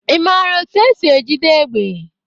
Ị maara etu esi ejide égbè?